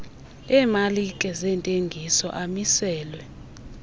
emalike zentengiso amiselwe